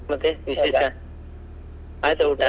ಮತ್ತೆ ಆಯ್ತಾ ಊಟ?